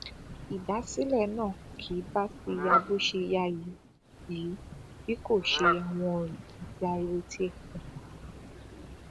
ìdásílẹ náà kì bá ti ya bó ṣe yá yìí yìí bí kò ṣe àwọn ọrọ àti ariwo tì ẹ pa